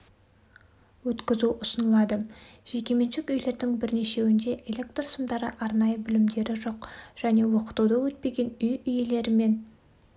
өткізу ұсынылады жекеменшік үйлердің бірнешеуінде электр сымдары арнайы білімдері жоқ және оқытуды өтпеген үй иелерімен